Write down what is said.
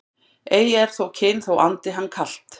Ei er kyn þó andi hann kalt